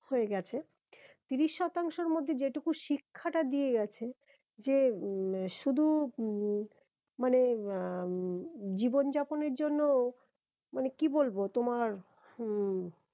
হয়ে গেছে তিরিশ শতাংশের মধ্যে যেটুকু শিক্ষাটা দিয়ে গেছে যে উম শুধু মানে আহ জীবন যাপনের জন্য মানে কি বলবো তোমার হম